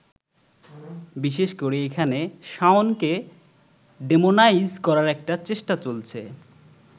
বিশেষ করে এখানে শাওনকে ডেমোনাইজ করার একটা চেষ্টা চলছে।